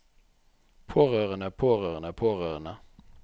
pårørende pårørende pårørende